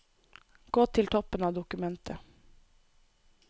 Gå til toppen av dokumentet